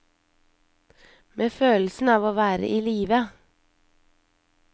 Med følelsen av å være i live.